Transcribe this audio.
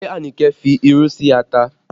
Ṣé Anike fi irú sí ata?